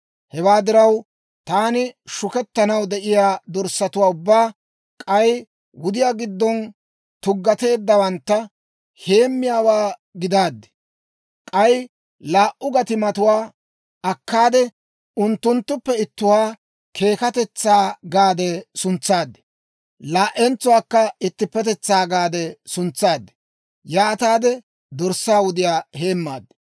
Hewaa diraw, taani shukettanaw de'iyaa dorssatuwaa, ubbaa k'ay wudiyaa giddon tuggateeddawantta heemmiyaawaa gidaad. K'ay laa"u gatimatuwaa akkaade unttunttuppe ittuwaa Keekkatetsaa gaade suntsaad; laa"entsuwaakka Ittippetetsaa gaade suntsaad. Yaataade dorssaa wudiyaa heemmaad.